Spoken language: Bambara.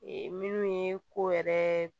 minnu ye ko yɛrɛ